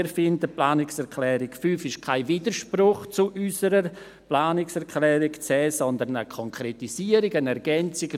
Wir finden die Planungserklärung 5 stehe nicht im Widerspruch zu unserer Planungserklärung 10, sondern sie sei eine Konkretisierung, eine Ergänzung.